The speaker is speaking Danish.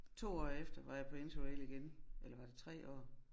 2 år efter var jeg på interrail igen eller var det 3 år?